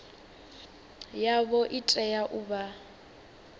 yavho i tea u vha